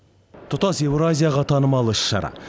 тұтас еуразияға танымал іс шара